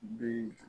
Bi